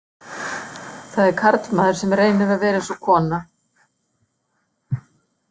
Það er karlmaður sem reynir að vera eins og kona